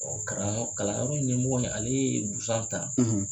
kalanyɔrɔ ɲɛimɔgɔ ale ye busan ta.